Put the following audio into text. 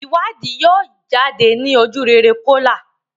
ìwádìí yíò jáde ní ojurere Kola.